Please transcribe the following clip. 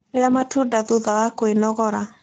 Rĩa matunda thutha wa kwĩnogora